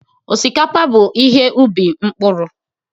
Osikapa bụ ihe ubi mkpụrụ.